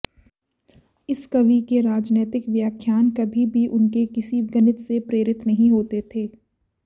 इस कवि के राजनैतिक व्याख्यान कभी भी उनके किसी गणित से प्रेरित नहीं होते थे